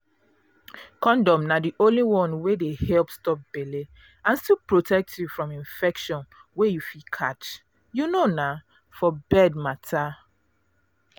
condom na the only one wey dey help stop belle and still protect you from infection wey you fit catch um for bed matter.